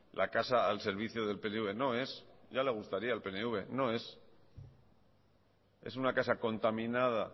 la casa al servicio del pnv no es ya le gustaría al pnv no es es una casa contaminada